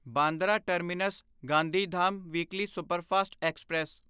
Bandra terminus Gandhidham weekly superfast express